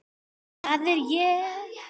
Það er ég.